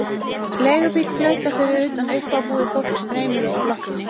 Leigubíll flautar fyrir utan, uppábúið fólk streymir út úr blokkinni.